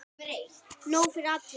Nóg fyrir alla!